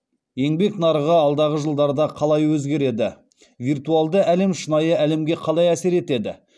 еңбек нарығы алдағы жылдарда қалай өзгереді виртуалды әлем шынайы әлемге қалай әсер етеді